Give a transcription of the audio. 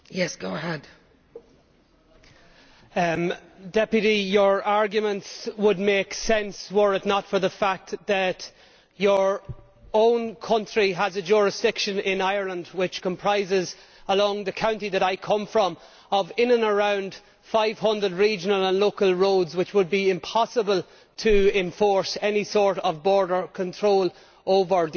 Ms Seymour, your arguments would make sense were it not for the fact that your own country has a jurisdiction in Ireland which comprises, along the county that I come from, around 500 regional and local roads which it would be impossible to enforce any sort of border control over.